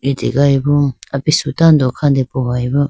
litegayi bo apisu tando kha depohoyi bo.